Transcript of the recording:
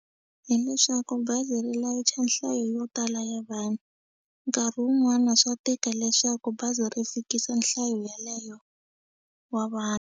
Hi leswaku bazi ri layicha nhlayo yo tala ya vanhu nkarhi wun'wana swa tika leswaku bazi ri fikisa nhlayo yeleyo wa .